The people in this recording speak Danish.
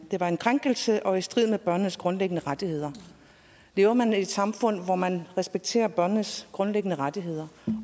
var en krænkelse og i strid med børnenes grundlæggende rettigheder lever man i et samfund hvor man respekterer børnenes grundlæggende rettigheder